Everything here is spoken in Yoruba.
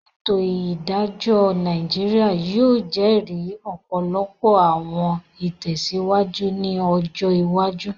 Ètò Ìdájọ́ Nàìjíríà yóò jẹ́ri ọ̀pọ̀lọpọ̀ àwọn ìlọsíwájú ní ọjọ iwájú